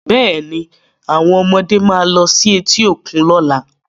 Bẹ́ẹ̀ ni, àwọn ọmọdé máa lọ sí etí òkun lọ́la.